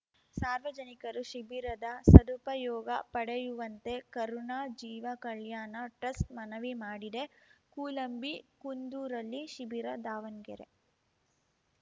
ಸಾರ್ವಜನಿಕರು ಶಿಬಿರದ ಸದುಪಯೋಗ ಪಡೆಯುವಂತೆ ಕರುಣಾ ಜೀವ ಕಲ್ಯಾಣ ಟ್ರಸ್ಟ್‌ ಮನವಿ ಮಾಡಿದೆ ಕೂಲಂಬಿಕುಂದೂರಲ್ಲಿ ಶಿಬಿರ ದಾವಣ್ಗೆರೆ